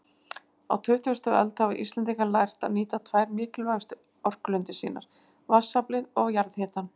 Á tuttugustu öld hafa Íslendingar lært að nýta tvær mikilvægustu orkulindir sínar, vatnsaflið og jarðhitann.